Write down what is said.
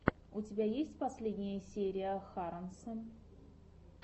у тебя есть последняя серия харонса